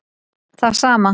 Það sama